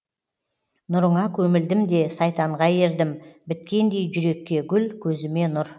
нұрыңа көмілдім де сайтанға ердім біткендей жүрекке гүл көзіме нұр